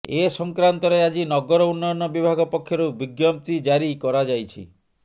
ଏ ସଂକ୍ରାନ୍ତରେ ଆଜି ନଗର ଉନ୍ନୟନ ବିଭାଗ ପକ୍ଷରୁ ବିଜ୍ଞପ୍ତି ଜାରି କରାଯାଇଛି